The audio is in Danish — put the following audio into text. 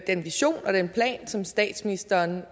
den vision og den plan som statsministeren